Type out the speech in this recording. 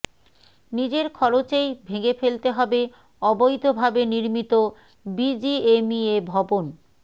নিজের খরচেই ভেঙে ফেলতে হবে অবৈধভাবে নির্মিত বিজিএমইএ ভবন